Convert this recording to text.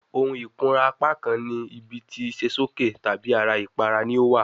Ohun ikunra apakan ni ibi ti ṣe soke tabi ara ipara ni o wa